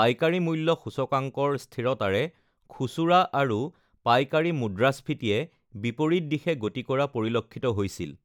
পাইকাৰী মূল্য সূচকাংকৰ স্থিৰতাৰে খুচুৰা আৰু পাইকাৰী মুদ্ৰস্ফীতিয়ে বিপৰীত দিশে গতি কৰা পৰিলক্ষিত হৈছিল